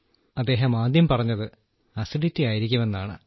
അദ്ദേഹം ആദ്യം പറഞ്ഞത് അസിഡിറ്റി ആയിരിക്കുമെന്നാണ്